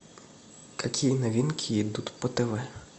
какие новинки идут по тв